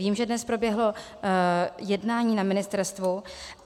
Vím, že dnes proběhlo jednání na ministerstvu.